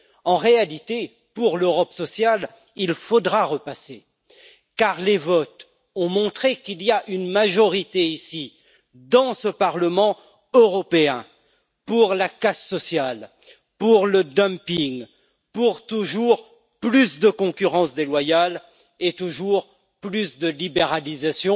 En réalité, pour l'Europe sociale, il faudra repasser car les votes ont montré qu'il y a une majorité ici, dans ce Parlement européen, pour la casse sociale, pour le dumping, pour toujours plus de concurrence déloyale et toujours plus de libéralisation